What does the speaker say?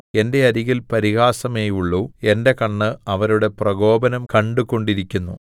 എന്റെ അരികിൽ പരിഹാസമേയുള്ളു എന്റെ കണ്ണ് അവരുടെ പ്രകോപനം കണ്ടു കൊണ്ടിരിക്കുന്നു